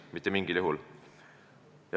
Mitte mingil juhul.